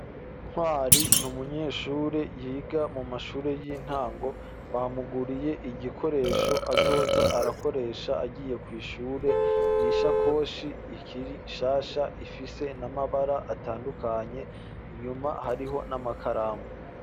Ntwari niumunyeshure yiga mu mashure y'intango bamuguriye igikoresho azoza arakoresha agiye kw'ihure, nishakoshi ikiri shasha ifise n'amabara atandukanye inyuma hariho n'amakaramu.